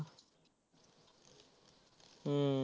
हम्म